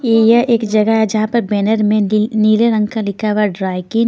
ये एक जगह है जहां पर बैनर में नीले रंग का लिखा हुआ है ड्राई की--